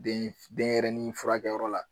Den denyɛrɛni furakɛyɔrɔ la